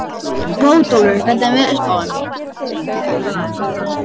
Bótólfur, hvernig er veðurspáin?